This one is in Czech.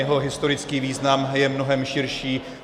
Jeho historický význam je mnohem širší.